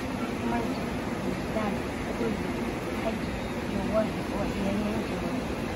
Maldini, Zidane, Kluivert, Hagi iyo Weah wa ciyariyanki hore.